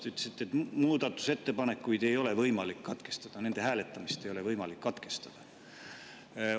Te ütlesite, et muudatusettepanekuid ei ole võimalik katkestada, nende hääletamist ei ole võimalik katkestada.